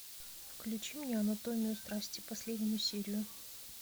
включи мне анатомию страсти последнюю серию